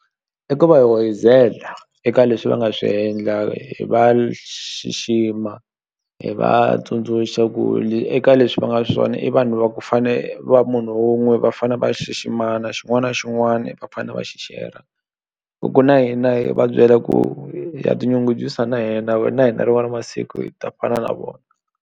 I ku va hi hoyizela eka leswi va nga swi endla hi va xixima hi va tsundzuxa ku eka leswi va nga swona i vanhu va fane va munhu wun'we va fane va xiximana xin'wana na xin'wani va fane va xi share-a ku na yi na yi hi va byela ku ha tinyungubyisa na hina na hina rin'wani masiku hi ta fana na vona.